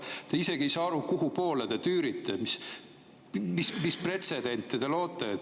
Te isegi ei saa aru, kuhupoole te tüürite, mis pretsedenti te loote.